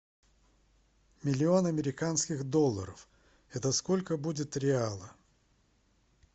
миллион американских долларов это сколько будет реалов